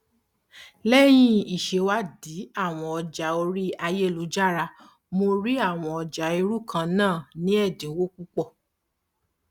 àwọn ikọ abániyanjúìṣòro ilé ìfowópamọsí ń ṣe ìwádìí lórí ìdàrúdàpọ tó wà nínú owó tí mo fi ránṣẹ